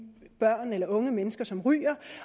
børn eller unge mennesker som ryger